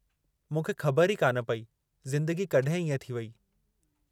मूंखे ख़बरु ई कान पई ज़िदंगी कड॒हिं इएं थी वेई।